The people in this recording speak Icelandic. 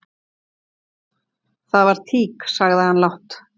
"""Það var tík, sagði hann lágt."""